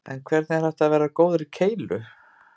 En hvernig er hægt að verða góður í keilu?